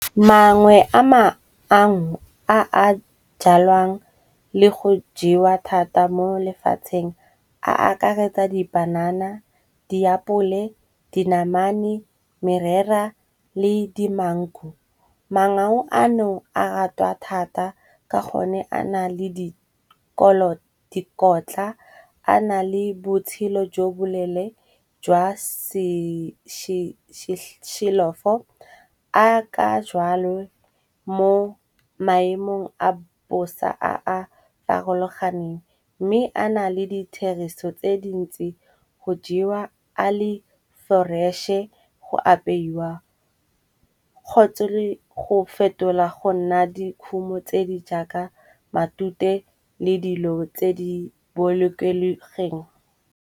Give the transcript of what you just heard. Mangwe a a jalwang le go jewa thata mo lefatsheng a akaretsa dipanana, diapole, dinamane, merera le di mango. Mangau ano a ratwa thata ka gonne a na le dikotla a na le botshelo jo bolele jwa se . A ka jalo mo maemong a bosa a a farologaneng mme a na le ditherisano tse dintsi go jewa ale fresh-e go apeiwa kgotsa le go fetola go nna dikhumo tse di jaaka matute le dilo tse di bolokegileng.